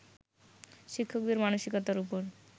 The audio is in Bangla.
শিক্ষকদের মানসিকতার উপর